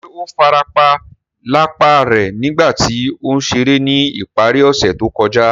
Ṣe o farapa lapa rẹ nigba ti o n ṣere ni ìparí ọse to kója?